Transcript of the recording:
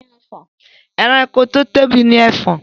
Ẹranko tí ó tóbi ni Ẹfọ̀n